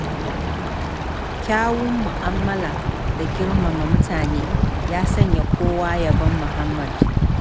Kyawun mu'amala da girmama mutane, ya sanya kowa yabon muhammad.